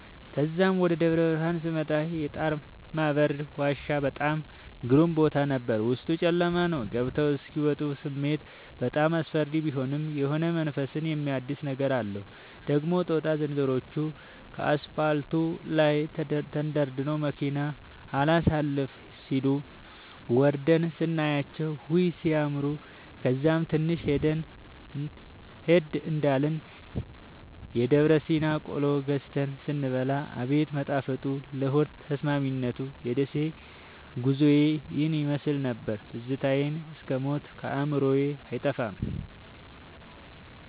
ተዛም ወደ ደብረብርሀን ስመጣ የጣርማበር ዋሻ በጣም ግሩም ቦታ ነበር፤ ዉስጡ ጨለማ ነዉ ገብተዉ እስኪ ወጡ ስሜቱ በጣም አስፈሪ ቢሆንም የሆነ መንፈስን የሚያድስ ነገር አለዉ። ደግሞ ጦጣ ዝንሮዎቹ ከአስፓልቱ ላይ ተደርድረዉ መኪና አላሣልፍም ሢሉ፤ ወርደን ስናያቸዉ ዉይ! ሢያምሩ። ከዛም ትንሽ ሄድ እንዳልን የደብረሲና ቆሎ ገዝተን ስንበላ አቤት መጣፈጡ ለሆድ ተስማሚነቱ። የደሴ ጉዞዬ ይህን ይመሥል ነበር። ትዝታዉ እስክ ሞት ከአዕምሮየ አይጠፋም።